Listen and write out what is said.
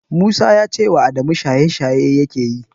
Musa ya ce Adamu shaye-shaye yake yi